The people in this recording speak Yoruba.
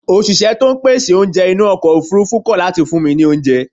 Òṣìṣẹ́ pèsè oúnjẹ inú ọkọ̀ ofurufú kọ̀ láti fún mi ní oúnjẹ.